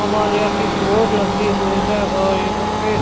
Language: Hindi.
हिमालय की बोर्ड लगी हुई है और यहां पे--